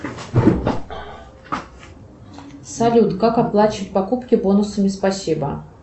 салют как оплачивать покупки бонусами спасибо